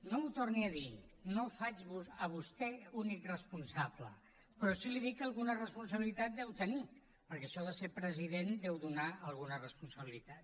no ho torni a dir no el faig a vostè únic responsable però sí li dic que alguna responsabilitat deu tenir perquè això de ser president deu donar alguna responsabilitat